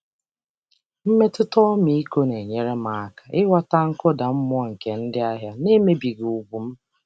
Mmetụta ọmịiko na-enyere m aka ịghọta mkpasu iwe ndị ahịa na-emebi ugwu m.